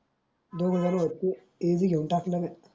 ते बी घेऊन टाकलन